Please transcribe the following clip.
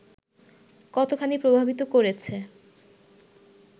কতোখানি প্রভাবিত করেছে